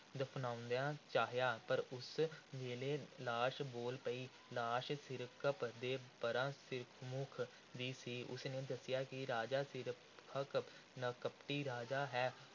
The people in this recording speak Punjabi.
ਦਫ਼ਨਾਉਣਾ ਚਾਹਿਆ। ਪਰ ਉਸ ਵੇਲੇ ਲਾਸ਼ ਬੋਲ ਪਈ। ਲਾਸ਼ ਸਿਰਕੱਪ ਦੇ ਪੈਰਾ ਸਿਰਮੁੱਖ ਦੀ ਸੀ। ਉਸ ਨੇ ਦੱਸਿਆ ਕਿ ਰਾਜਾ ਸਿਰਕੱਪ ਕਪਟੀ ਰਾਜਾ ਹੈ।